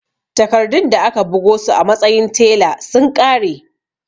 Takardun da aka bugo su a matsayin tela sun ƙare